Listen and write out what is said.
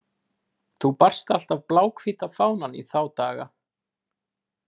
Þú barst alltaf bláhvíta fánann í þá daga.